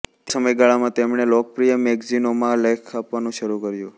તે સમયગાળામાં તેમણે લોકપ્રિય મેગેઝિનોમાં લેખો આપવાનું શરૂ કર્યું